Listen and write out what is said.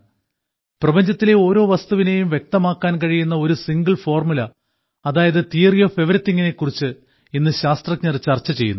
പ്രപഞ്ചത്തിലെ ഓരോ വസ്തുവിനെയും വ്യക്തമാക്കാൻ കഴിയുന്ന ഒരു സിംഗിൾ ഫോർമുല അതായത് തിയറി ഓഫ് എവരിതിംഗിനെ കുറിച്ച് ഇന്ന് ശാസ്ത്രജ്ഞർ ചർച്ച ചെയ്യുന്നു